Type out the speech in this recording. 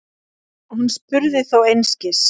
Hún spurði þó einskis.